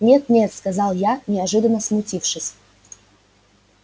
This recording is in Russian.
нет-нет сказал я неожиданно смутившись